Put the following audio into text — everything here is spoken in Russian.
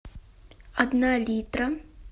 одна литра